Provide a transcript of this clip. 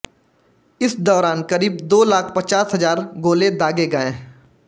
इस दौरान करीब दो लाख पचास हजार गोले दागे गए